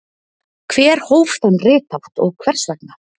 hver hóf þann rithátt og hvers vegna